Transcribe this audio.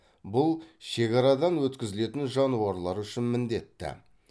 бұл шекарадан өткізілетін жануарлар үшін міндетті